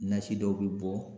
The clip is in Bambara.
Nasi dɔw be bɔ